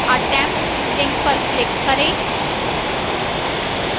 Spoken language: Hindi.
attempts link पर click करें